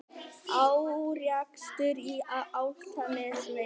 Árekstur á Álftanesvegi